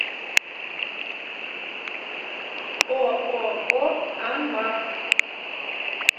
ооо анмар